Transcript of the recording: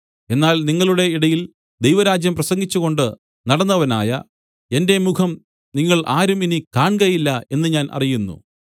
എന്നാൽ നിങ്ങളുടെ ഇടയിൽ ദൈവരാജ്യം പ്രസംഗിച്ചുകൊണ്ടു നടന്നവനായ എന്റെ മുഖം നിങ്ങൾ ആരും ഇനി കാൺകയില്ല എന്ന് ഞാൻ അറിയുന്നു